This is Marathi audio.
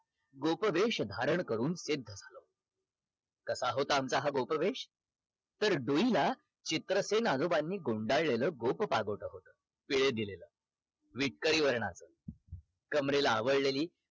गोपवेष धारण करून ते कसा होता हा आमचा गोपवेष तर डोईला चित्रसेन आजोबांनी गुंडळलेला गोप पागोटं होत पिळे दिलेलं विटकरी वर्णात कमरेला आवळलेली